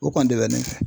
O kɔni de bɛ ne fɛ